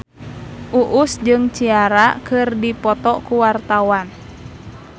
Uus jeung Ciara keur dipoto ku wartawan